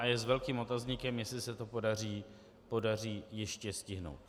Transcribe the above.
A je s velkým otazníkem, jestli se to podaří ještě stihnout.